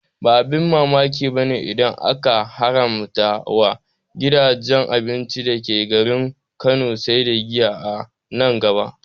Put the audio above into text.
Ba abin mamaki bane idan aka haramta wa gidajen abinci dake garin Kano sai da giya a nan gaba